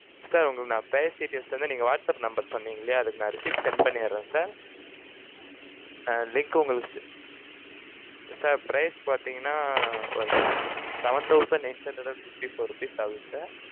sir உங்களுக்கு நான் price details வந்து, நீங்க whatsapp number சொன்னீங்க இல்லையா, அதுக்கு நான் receipt send பண்ணிடுறேன் sirsir price பார்த்தீங்கன்னா, seven thousand eight hundred and fifty-four rupees ஆகுது sir